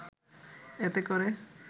এতে করে